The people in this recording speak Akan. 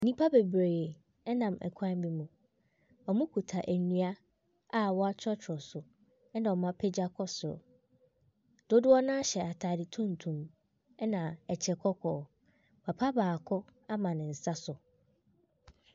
Nnipa bebree nam kwan bi mu. Wɔkuta nnua a wɔtwerɛtwerɛ so, ɛna wɔapagya kɔ soro. Dodoɔ no ara hyɛ atade tuntum, ɛna ɛkyɛ kɔkɔɔ. Papa baako ama ne nsa so.